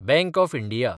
bank of India